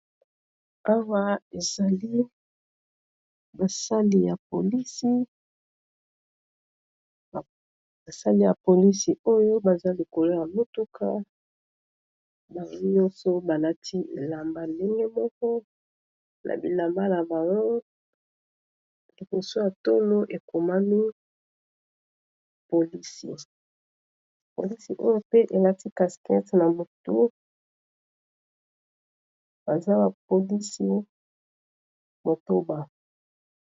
Awa ezali basali ya polisi oyo baza likolo ya motuka bango nyonso balati ndenge moko na bilamba na bango liboso ya tolo ekomani polisi pe balati casque baza ba polisi motoba.